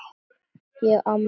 Ég á afmæli á morgun.